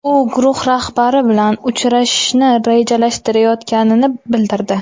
U guruh rahbari bilan uchrashishni rejalashtirayotganini bildirdi.